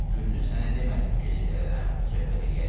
Gündüz sənə demədim gecə gələrəm?